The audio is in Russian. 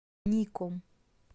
ником